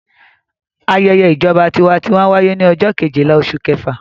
Ayẹyẹ ìjọba tiwantiwa wáyé ní ọjọ́ kejìlá oṣù kẹfà.